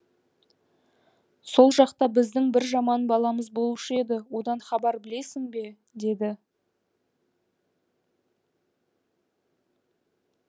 сол жақта біздің бір жаман баламыз болушы еді одан хабар білесің бе деді